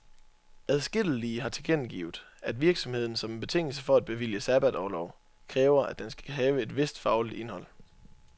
Adskillige har tilkendegivet, at virksomheden som en betingelse for at bevilge sabbatorlov, kræver, at den skal have et vist fagligt indhold.